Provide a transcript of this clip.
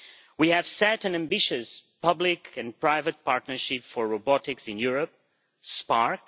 We have set an ambitious public and private partnership for robotics in Europe Sparc.